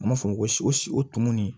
U m'a fɔ ko si o si o tumuni